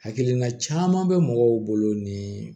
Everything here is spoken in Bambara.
Hakilina caman bɛ mɔgɔw bolo ni